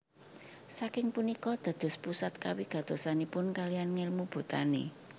Saking punika dados pusat kawigatosanipun kalihan ngèlmu botani